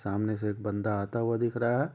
सामने से एक बंदा आता हुआ दिख रहा है।